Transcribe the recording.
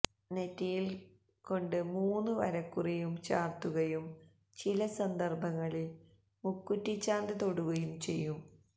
നെറ്റിയിൽ കൊണ്ട് മൂന്നു വരക്കുറിയും ചാർത്തുകയും ചില സന്ദർഭങ്ങളിൽ മുക്കുറ്റിചാന്ദ് തൊടുകയും ചെയ്യും